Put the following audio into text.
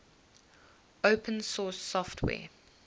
open source software